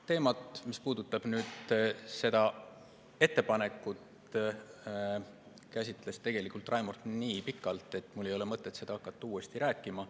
Teemat, mis puudutab seda ettepanekut, käsitles Raimond tegelikult nii pikalt, et mul ei ole mõtet hakata seda uuesti rääkima.